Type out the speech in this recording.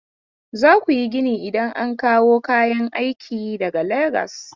Za ku yi gini idan an kawo kayan aik daga Legasi.